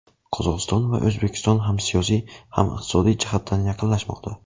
Qozog‘iston va O‘zbekiston ham siyosiy, ham iqtisodiy jihatdan yaqinlashmoqda.